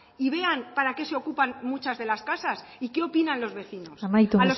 y vean para que se ocupan muchas de las casas y qué opinan los vecinos amaitu